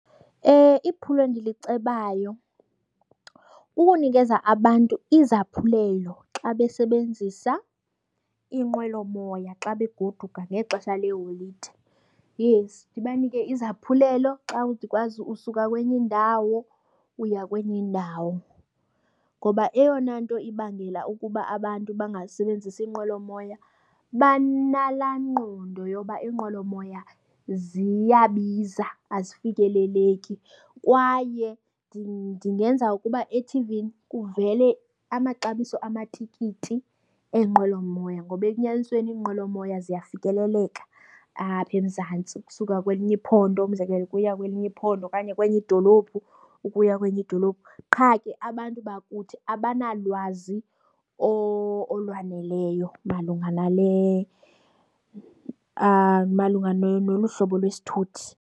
Iphulo endilicebayo kukunikeza abantu izaphulelo xa besebenzisa iinqwelomoya xa begoduka ngexesha leeholide. Yes, ndibanike izaphulelo xa ndikwazi usuka kwenye indawo uya kwenye indawo. Ngoba eyona nto ibangela ukuba abantu bangazisebenzisi iinqwelomoya banalaa ngqondo yoba inqwelomoya ziyabiza, azifikeleleki. Kwaye ndingenza ukuba ethivini kuvele amaxabiso amatikiti eenqwelomoya ngoba enyanisweni iinqwelomoya ziyafikeleleka apha eMzantsi, ukusuka kwelinye iphondo umzekelo ukuya kwelinye iphondo okanye kwenye idolophu ukuya kwenye idolophu. Qha ke abantu bakuthi abanalwazi olwaneleyo malunga nale malunga nolu hlobo lwesithuthi.